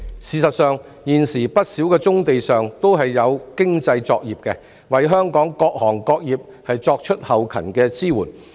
事實上，現時不少棕地上均有經濟作業，為香港各行各業作後勤支援。